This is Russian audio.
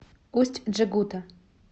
усть джегута